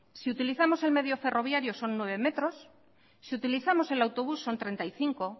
si utilizamos el medio ferroviario son nueve metros si utilizamos el autobús son treinta y cinco